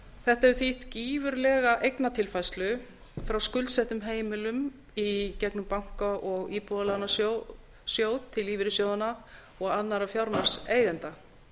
þetta hefur þýtt gífurlega eignatilfærslu frá skuldsettum heimilum í gegnum banka og íbúðalánasjóð til lífeyrissjóðanna og annarra fjármagnseigenda